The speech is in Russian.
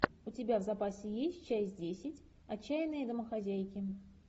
у тебя в запасе есть часть десять отчаянные домохозяйки